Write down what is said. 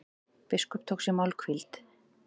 Biskup tók sér málhvíld.